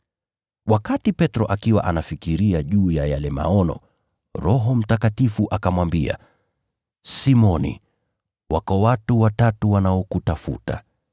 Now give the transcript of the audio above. Wakati Petro akiwa anafikiria juu ya yale maono, Roho Mtakatifu akamwambia, “Simoni, wako watu watatu wanaokutafuta.